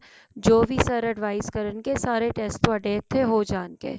ਜੋ ਵੀ sir advice ਕਰਨਗੇ ਸਾਰੇ test ਥੋੜੇ ਇੱਥੇ ਹੋ ਜਾਣਗੇ